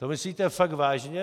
To myslíte fakt vážně?